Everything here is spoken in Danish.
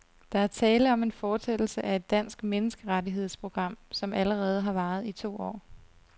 Der er tale om en fortsættelse af et dansk menneskerettighedsprogram, som allerede har varet i to år.